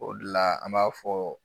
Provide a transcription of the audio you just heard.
O de la an b'a fɔ